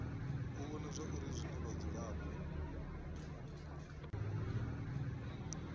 u vhona zwauri zwine vhadzulapo